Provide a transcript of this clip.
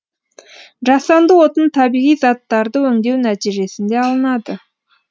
жасанды отын табиғи заттырды өңдеу нәтижесінде алынады